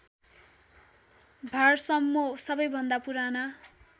भारसम्मो सबैभन्दा पुराना